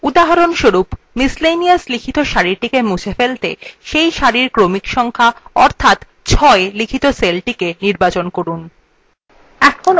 উদাহরণস্বরূপ যে সারিতে laundry লেখা আছে সেটিকে মুছে ফেলতে প্রথমে cell cellthe নির্বাচন করুন যাতে সেটির ক্রমিক সংক্যা অর্থাৎ ৬ আছে